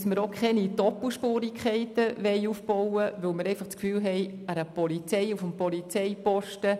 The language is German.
Wir wollen keine Doppelspurigkeiten aufbauen, da wir der Ansicht sind, dies nicht auch noch der Polizei anhängen zu können.